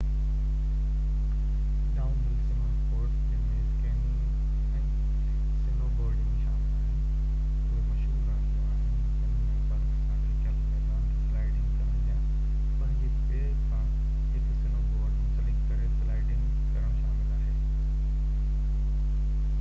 down هل snow sports جن ۾ skiing ۽ snowboarding شامل آهن اهي مشهور رانديون آهن جن ۾ برف سان ڍڪيل ميدان تي سلائيڊنگ ڪرڻ يا پنهنجي پير سان هڪ سنو بورڊ منسلڪ ڪري سلائيڊنگ ڪرڻ شامل آهي